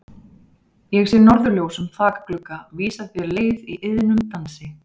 Ég sé norðurljós um þakglugga vísa þér leið í iðnum dansi.